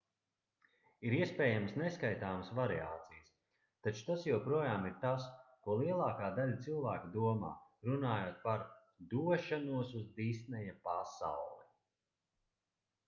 ir iespējamas neskaitāmas variācijas taču tas joprojām ir tas ko lielākā daļa cilvēku domā runājot par došanos uz disneja pasauli